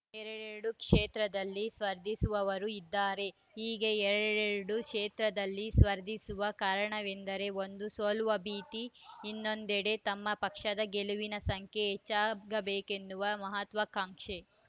ಎರಡೆರಡು ಕ್ಷೇತ್ರದಲ್ಲಿ ಸ್ಫರ್ಧಿಸುವವರೂ ಇದ್ದಾರೆ ಹೀಗೆ ಎರಡೆರಡೂ ಕ್ಷೇತ್ರದಲ್ಲಿ ಸ್ಫರ್ಧಿಸುವ ಕಾರಣವೆಂದರೆ ಒಂದು ಸೋಲುವ ಭೀತಿ ಇನ್ನೊಂದೆಡೆ ತಮ್ಮ ಪಕ್ಷದ ಗೆಲುವಿನ ಸಂಖ್ಯೆ ಹೆಚ್ಚಾಗಬೇಕೆನ್ನುವ ಮಹತ್ವಾಕಾಂಕ್ಷೆ